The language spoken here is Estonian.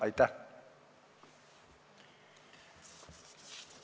Kohtume homme.